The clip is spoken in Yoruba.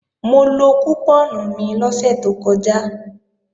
Mo lo kùpọ́ọ̀nù mi lọ́sẹ̀ tó kọjá